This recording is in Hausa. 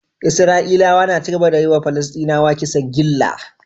Isra'ilawa na cigaba da yiwa palasdinawa kisan gilla